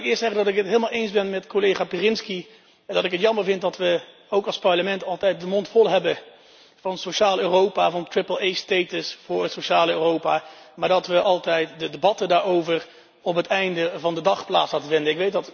Laat ik eerst zeggen dat ik het helemaal eens ben met collega Pirinski en dat ik het jammer vind dat we ook als Parlement altijd de mond vol hebben van sociaal Europa, van een voor het sociale Europa, maar dat we altijd de debatten daarover op het einde van de dag laten plaatsvinden.